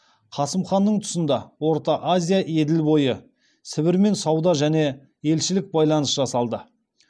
қасым ханның тұсында орта азия еділ бойы сібірмен сауда және елшілік байланыс жасалды